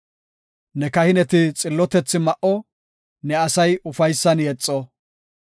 Ne kahineti xillotethi ma7o; ne asay ufaysan yexo.